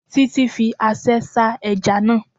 Títí fi aṣẹ́ sá ẹja náà